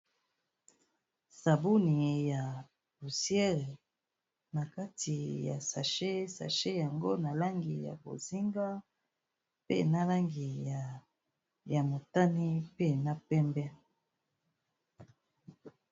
Sabuni ya pousiere na kati ya sache, sache yango na langi ya bozinga, pe na langi ya motani pe na pembe.